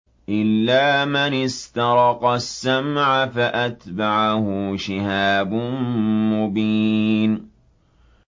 إِلَّا مَنِ اسْتَرَقَ السَّمْعَ فَأَتْبَعَهُ شِهَابٌ مُّبِينٌ